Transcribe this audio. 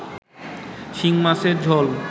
শিংমাছের ঝোল